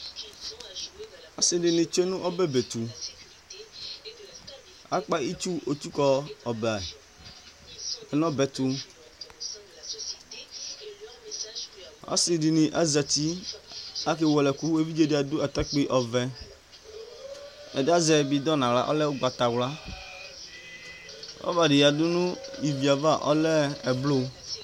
ɔsi di ni tsʋe nu ɔbɛ be tu , Akpa itsu otsuku ɔbɛ ya nu ɔbɛ tu, ɔsi di ni azati ku ake wele ɛku, evidze di adu atakpui ɔvɛ, ɛdi azɛ bidon nu aɣla ɔlɛ ugbata wla, rɔba di yadu nu ivie ava ɔlɛ ɛblu